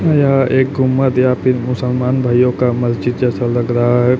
यह एक गुंबद या फिर मुसलमान भाइयों का मस्जिद जैसा लग रहा है।